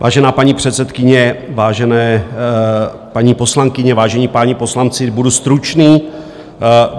Vážená paní předsedkyně, vážené paní poslankyně, vážení páni poslanci, budu stručný.